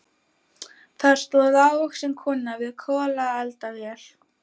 Þar stóð lágvaxin kona við kolaeldavél.